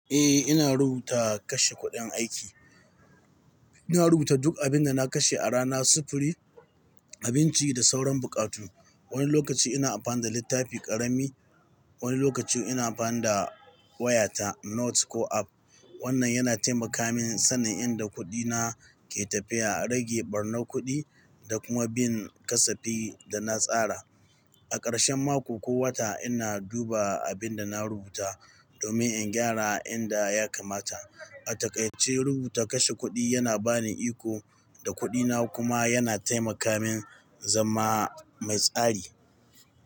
Eh, ina rubuta kashe kuɗin aiki. Ina rubuta duk abin da na kashe a rana, sufuri, abinci da sauran buƙatu. Wani lokaci ina amfani da littafi ƙarami, wani lokaci kuma ina amfani da wayata Notes ko app. Wannan yana taimaka min sanin inda kuɗina ke tafiya, rage ɓarnar kuɗi da kuma bin kasafin da na tsara. A ƙarshen mako ko wata, ina duba abin da na rubuta domin in gyara inda ya kamata. A takai ce rubuta kashe kuɗi yana bani iko da kuɗina kuma yana taimaka min zama mai tsari.